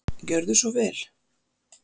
Gjörðu svo vel.